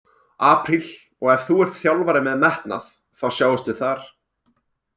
Apríl, og ef þú ert þjálfari með metnað- þá sjáumst við þar!